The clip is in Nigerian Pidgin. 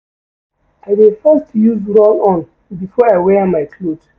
I dey first use roll-on before I wear my cloth.